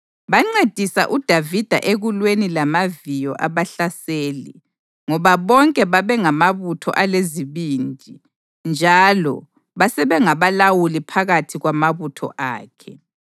Bancedisa uDavida ekulweni lamaviyo abahlaseli, ngoba bonke babengamabutho alezibindi, njalo basebengabalawuli phakathi kwamabutho akhe.